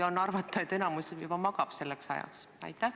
Võib arvata, et enamik juba selleks ajaks magab.